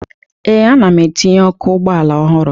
Ee, ana m etinye ọkụ ụgbọala ọhụrụ